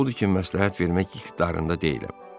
Odur ki, məsləhət vermək qüdrətində deyiləm.